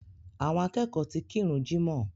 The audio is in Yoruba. Àwọn akẹ́kọ̀ọ́ ti kírun jímọ̀